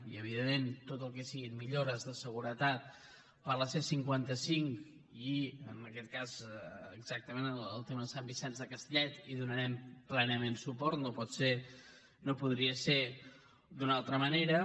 i evidentment a tot el que siguin millores de seguretat per a la c cinquanta cinc i en aquest cas exactament en el tema de sant vicenç de castellet hi donarem plenament suport no podria ser d’una altra manera